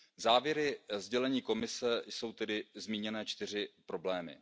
Závěry sdělení Komise jsou tedy zmíněné čtyři problémy.